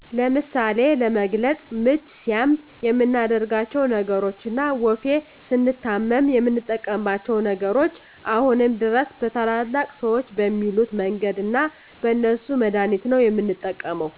ለምሳሌ ለመግለፅ ምች ሲያም የምናደርጋቸው ነገሮች እና ወፌ ስንታመም የምንጠቀማቸው ነገሮች አሁንም ድረስ በታላላቅ ሰዎች በሚሉት መንገድ እና በእነሱ መድሀኒት ነው የምንጠቀመው